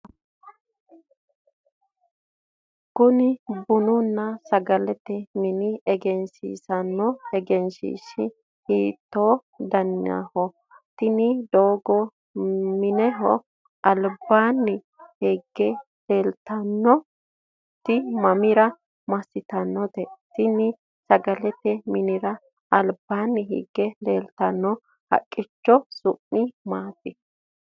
konne bununna sagalete mine egensiinsoonni egenshiishshi hiitto daniho? tini doogo mineho albaanni higge leeltanoti mamira massitannote? tini sagalete minira albaanni higge leeltanno haqqicho su'mi maati?